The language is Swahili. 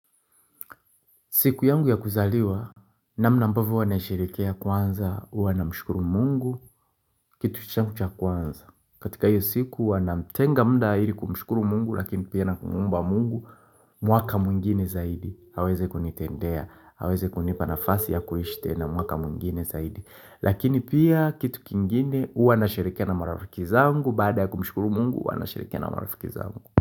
Siku yangu ya kuzaliwa, namna ambavyo huwanaisherekea kwanza, huwa namshkuru mungu, kitu changu cha kwanza. Katika hio siku huwa namtenga muda ili kumshukuru mungu, lakini pia na kumuomba mungu, mwaka mwingine zaidi. Aweze kunitendea, aweze kunipa nafasi ya kuishi tena mwaka mwingine zaidi. Lakini pia, kitu kingine, huwa nasherekea na marafiki za mungu, baada ya kumshukuru mungu, huwa nasherekea na marafiki zangu.